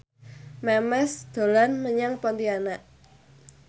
Memes dolan menyang Pontianak